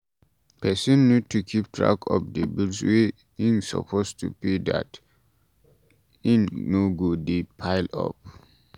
Person need to keep track of di bills wey im suppose pay so dat e no go de pile up